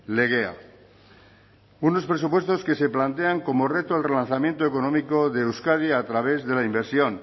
legea unos presupuestos que se plantean como reto el relanzamiento económico de euskadi a través de la inversión